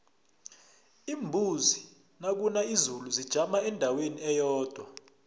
iimbuzi nakuna izulu zijama endaweni eyodwa